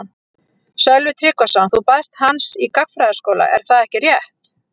Sölvi Tryggvason: Þú baðst hans í gagnfræðaskóla er það ekki rétt?